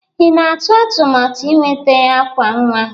Ị na-atụ atụmatụ ịnweta àkwà nwa?